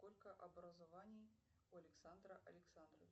сколько образований у александра александровича